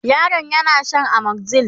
yaron yana Shan amoxyl